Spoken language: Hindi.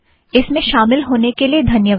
इसमें शामिल होने के लिए धन्यवाद